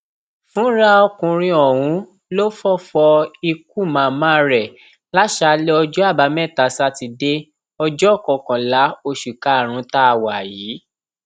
fúnra ọkùnrin ọhún ló fọfọ ikú màmá rẹ lásàálẹ ọjọ àbámẹta sátidé ọjọ kọkànlá oṣù karùnún tá a wà yìí